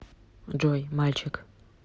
джой мальчик